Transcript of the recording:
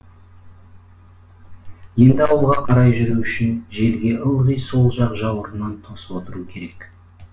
енді ауылға қарай жүру үшін желге ылғи сол жақ жауырынын тосып отыру керек